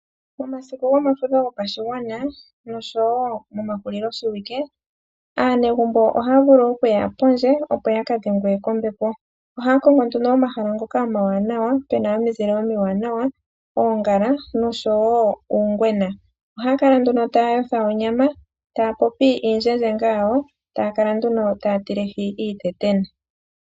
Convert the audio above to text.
Momasiku gomafudho gopashigwana noshow momahulilo shiwike aanegumbo ohaya vulu okuya pondje opo ya ka dhengwe kombepo. Ohaya kongo nduno omahala ngoka omawanawa pena omizile omiwanawa, oongala noshowo uungwena. Ohaya kala nduna taya otha onyama taya popi iindjendjenga yawo, taya kala nduno taya teleke iitetena.